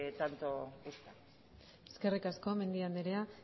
tanto gusta eskerrik asko mendia anderea